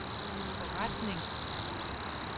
forretning